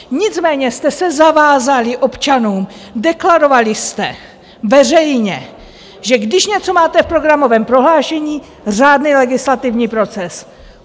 Nicméně jste se zavázali občanům, deklarovali jste veřejně, že když něco máte v programovém prohlášení, řádný legislativní proces.